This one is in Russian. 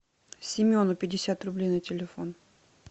семену пятьдесят рублей на телефон